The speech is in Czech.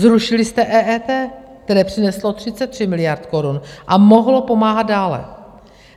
Zrušili jste EET, které přineslo 33 miliard korun a mohlo pomáhat dále.